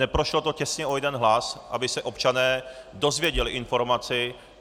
Neprošlo to těsně o jeden hlas, aby se občané dozvěděli informaci.